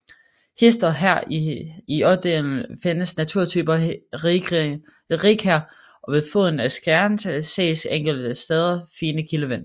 Hist og her i ådalen findes naturtypen rigkær og ved foden af skrænterne ses enkelte steder fine kildevæld